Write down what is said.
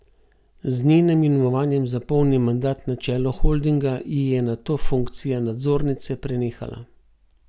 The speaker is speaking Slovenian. Z njenim imenovanjem za polni mandat na čelu holdinga ji je nato funkcija nadzornice prenehala.